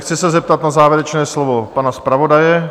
Chci se zeptat na závěrečné slovo pana zpravodaje.